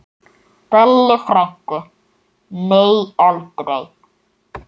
Bellu frænku, nei aldrei.